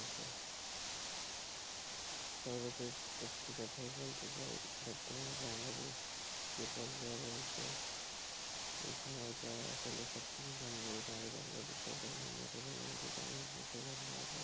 সবশেষে একটা কথাই বলতে চাই বর্তমানে বাংলাদেশ যে পর্যায়ে রয়েছে সেই সময়টা সবকিছুই সম্ভব হয়েছে আমাদের বাংলাদেশ সরকার মাননীয় প্রধানমন্ত্রী জননেত্রী শেখ হাসিনার কারণে,